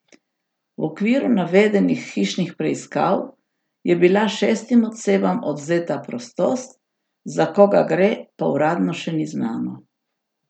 V okviru navedenih hišnih preiskav je bila šestim osebam odvzeta prostost, za koga gre, pa uradno še ni znano.